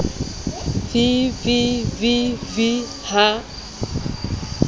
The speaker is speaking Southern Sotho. v v v v ha